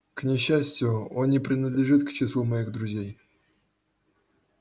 к несчастью он не принадлежит к числу моих друзей